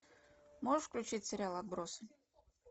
можешь включить сериал отбросы